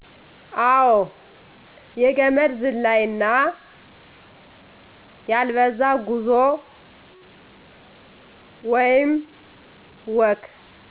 አወ የገመድ ዝላይ እና ያልበዛ ጉዞ ወይም ወክ